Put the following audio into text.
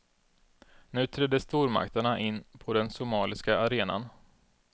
Nu trädde stormakterna in på den somaliska arenan.